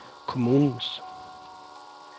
kommunens